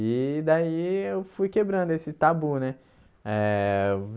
E daí eu fui quebrando esse tabu, né? Eh